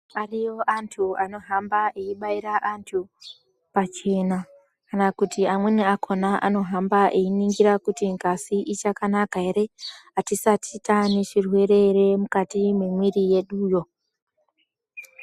Ariyo antu anohamba eibaira antu pachena, kana kuti amweni akhona anohamba einingira kuti ngazi ichakanaka ere, atisati tane zvirwere ere mukati memwiri yeduyo.